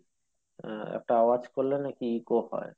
আহ একটা আওয়াজ করলে নাকি eco হয়